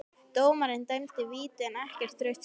Dómarinn dæmdi víti en ekkert rautt spjald?